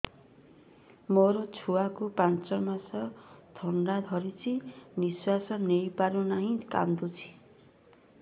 ମୋ ଛୁଆକୁ ପାଞ୍ଚ ମାସ ଥଣ୍ଡା ଧରିଛି ନିଶ୍ୱାସ ନେଇ ପାରୁ ନାହିଁ କାଂଦୁଛି